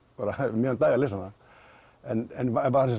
um miðjan dag að lesa hana en